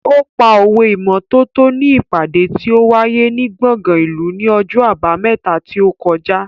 Ó pa òwe ìmọ́tótó ní ìpàdé tí ó wáyé ní gbọ̀ngàn ìlú ní ọjọ́ Àbámẹ́ta tí ó kọjá.